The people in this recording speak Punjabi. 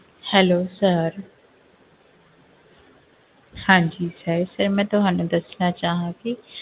Hello sir ਹਾਂਜੀ sir sir ਮੈਂ ਤੁਹਾਨੂੰ ਦੱਸਣਾ ਚਾਹਾਂਗੀ,